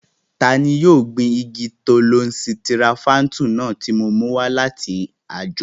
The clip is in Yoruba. Tani yóò gbin igi tọ́lọ́n sitirofáńtù náà tó mú wá láti àjò?